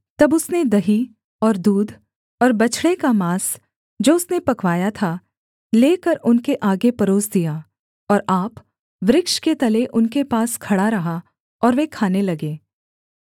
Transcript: तब उसने दही और दूध और बछड़े का माँस जो उसने पकवाया था लेकर उनके आगे परोस दिया और आप वृक्ष के तले उनके पास खड़ा रहा और वे खाने लगे